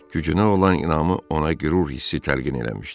Gücünə olan inamı ona qürur hissi təlqin eləmişdi.